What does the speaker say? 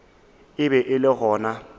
e be e le gona